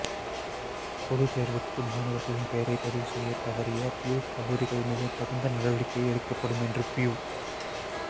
பொதுத்தேர்வுக்கு மாணவர்களின் பெயரை பதிவுசெய்ய தவறிய பியூ கல்லூரிகள் மீது தகுந்த நடவடிக்கை எடுக்கப்படும் என்று பியூ